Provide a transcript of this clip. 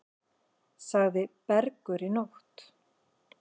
Sagði Bergur í nótt.